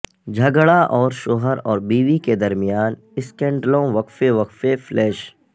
جھگڑا اور شوہر اور بیوی کے درمیان اسکینڈلوں وقفے وقفے فلیش